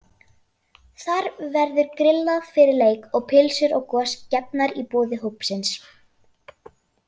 Þar verður grillað fyrir leik og pylsur og gos gefnar í boði hópsins.